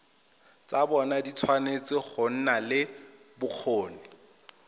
tshwanetse go nna le bokgoni